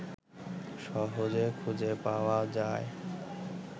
সহজে খুঁজে পাওয়া যায়